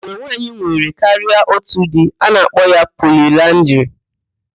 Mgbe nwaanyị nwere karịa otu di, a na-akpọ ya poliaandrị.